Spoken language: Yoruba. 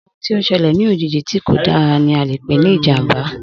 Ohun tí o selè ní òjijì tí kò dára ni a le pè ní ìjàmbá